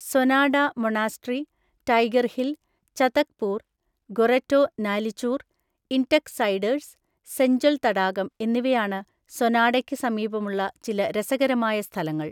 Sonada monastery, Tiger Hill, Chatakpur, ഗോറെറ്റോ നാലിചൂർ, ഇൻടെക് സെഡേഴ്‌സ്, സെഞ്ചൽ തടാകം എന്നിവയാണ് സോനാഡയ്ക്ക് സമീപമുള്ള ചില രസകരമായ സ്ഥലങ്ങൾ.